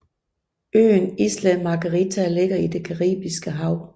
Øen Isla Margarita ligger i det Caribiske Hav